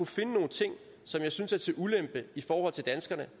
finde nogle ting som jeg synes er til ulempe i forhold til danskerne